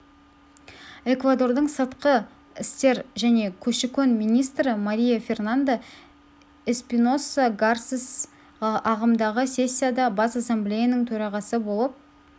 эквадордың сыртқы істер және көші-қон министрі мария фернанда эспиноса гарсес ағымдағы сессияда бас ассамблеяның төрағасы болып